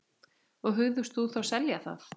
Og hugðust þá selja það.